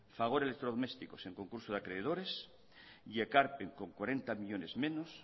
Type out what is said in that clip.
fagor electrodomésticos en concurso de acreedores y ekarpen con cuarenta millónes menos